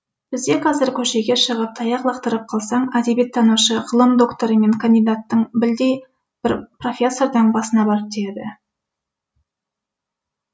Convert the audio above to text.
бізде қазір көшеге шығып таяқ лақтырып қалсаң әдебиеттанушы ғылым докторы мен кандидаттың білдей бір профессордың басына барып тиеді